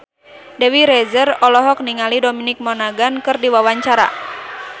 Dewi Rezer olohok ningali Dominic Monaghan keur diwawancara